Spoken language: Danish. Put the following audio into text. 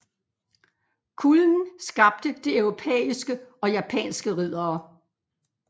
Kulden skabte de europæiske og japanske riddere